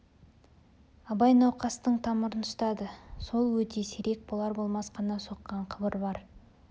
абай науқастың тамырын ұстады сол өте сирек болар-болмас қана соққан қыбыр бар